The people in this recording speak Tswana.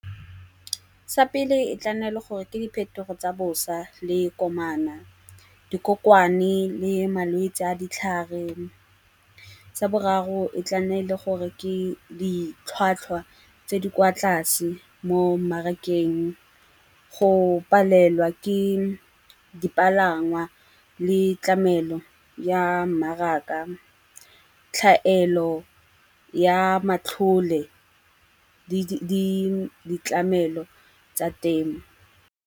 Sa pele e tla nna le gore ke diphetogo tsa bosa le komana, dikokomane le malwetsi a ditlhare. Tsa boraro e tla nna le gore ke ditlhwatlhwa tse di kwa tlase mo mmarakeng, go palelwa ke dipalangwa le tlamelo ya mmaraka, tlhaelo ya matlhole le ditlamelo tsa temo.